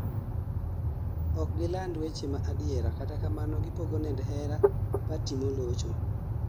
okgi land weche ma adiera, kata kamano gipogo nend hero pati molocho